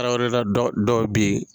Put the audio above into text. Tarawele la dɔ dɔw bɛ yen.